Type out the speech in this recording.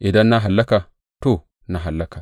Idan na hallaka, to, na hallaka.